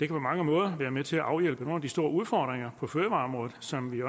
på mange måder være med til at afhjælpe nogle af de store udfordringer på fødevareområdet som vi